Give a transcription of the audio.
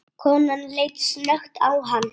Konan leit snöggt á hann.